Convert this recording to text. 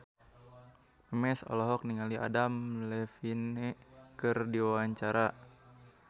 Memes olohok ningali Adam Levine keur diwawancara